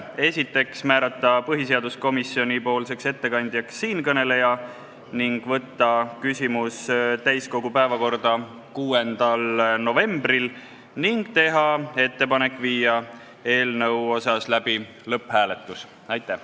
Esiteks, määrata põhiseaduskomisjoni ettekandjaks siinkõneleja, teiseks, saata küsimus täiskogu päevakorda 6. novembriks, ning kolmandaks, teha ettepanek panna eelnõu lõpphääletusele.